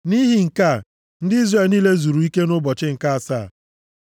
Nʼihi nke a, ndị Izrel niile zuru ike nʼụbọchị nke asaa.